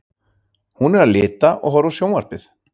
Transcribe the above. Hún er að lita og horfa á sjónvarpið.